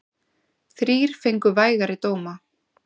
Þrír fengu vægari dóma.